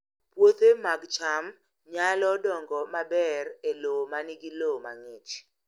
Puothe mag cham nyalo dongo maber e lowo ma nigi lowo mang'ich